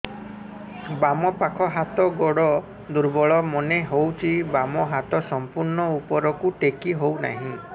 ବାମ ପାଖ ହାତ ଗୋଡ ଦୁର୍ବଳ ମନେ ହଉଛି ବାମ ହାତ ସମ୍ପୂର୍ଣ ଉପରକୁ ଟେକି ହଉ ନାହିଁ